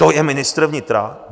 To je ministr vnitra?